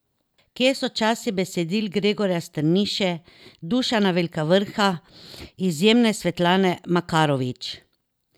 Kje so časi besedil Gregorja Strniše, Dušana Velkavrha, izjemne Svetlane Makarovič?